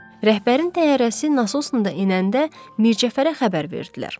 Rəhbərin təyyarəsi Nasona da enəndə Mircəfərə xəbər verdilər.